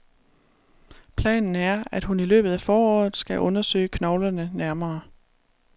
Planen er, at hun i løbet af foråret skal undersøge knoglerne nærmere.